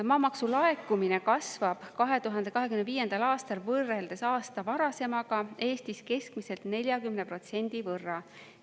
Maamaksu laekumine kasvab 2025. aastal võrreldes aasta varasemaga Eestis keskmiselt 40% võrra.